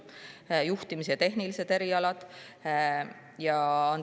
Aga juhtimise erialad ja tehnilised erialad.